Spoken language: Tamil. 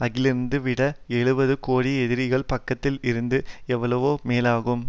அருகிலிருப்பதை விட எழுபது கோடி எதிரிகள் பக்கத்தில் இருப்பது எவ்வளவோ மேலாகும்